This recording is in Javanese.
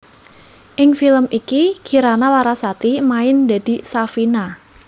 Ing film iki Kirana Larasati main dadi Safina